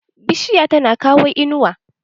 Bishiya tana kawo inuwa.